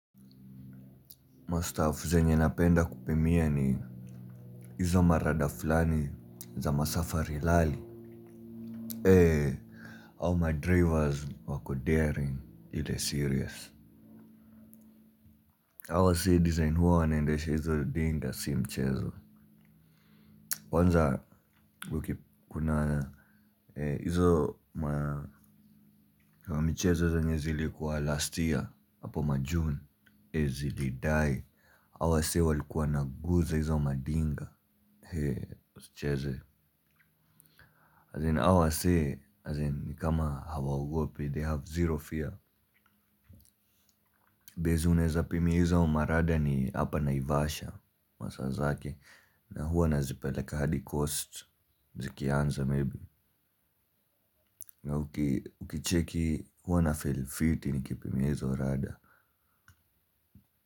Mastaf zenye napenda kupimia ni hizo marada fulani za masafari rali. He au madrivers wako daring. Ile serious hao wasee design huwa wanaendesha hizo dinga si mchezo. Kwanza kuna hizo. Mchezo zenye zilikuwa last year apo majune eeh sijui die hao wasee walikuwa wanaguza hizo madinga hee! Usicheze As in hao wasee, as in kama hawaogopi, they have zero fear. Base unaweza pimia hizo marada ni hapa naivasha. Masaa zake, na huwa nazipeleka hadi Coast Zikianza maybe na ukicheki huwa na feel fiti nikipia hizo rada.